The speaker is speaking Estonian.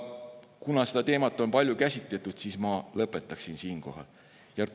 Kuna seda teemat on palju käsitletud, siis ma siinkohal lõpetan.